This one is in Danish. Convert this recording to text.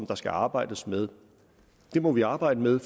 der skal arbejdes med det må vi arbejde med